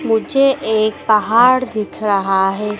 मुझे एक पहाड़ दिख रहा है।